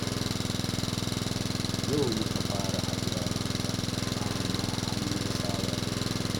Yau muka fara haɗuwa da ita, amma har mun saba da juna